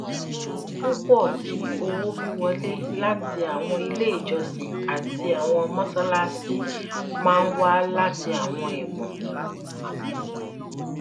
pupọ ti owowiwọle lati awọn ile ijọsin ati awọn mọṣalaṣi maa n wa lati awọn ẹbun